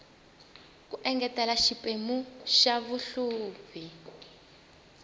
ku engetela xiphemu xa xihluvi